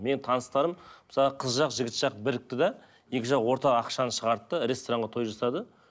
менің таныстарым мысалы қыз жақ жігіт жақ бірікті де екі жақ ортақ ақшаны шығарды да ресторанға той жасады